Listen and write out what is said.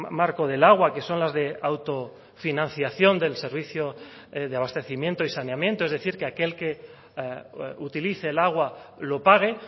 marco del agua que son las de autofinanciación del servicio de abastecimiento y saneamiento es decir que aquel que utilice el agua lo pague